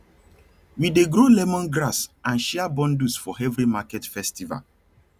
we dey grow lemongrass and share bundles for every market festival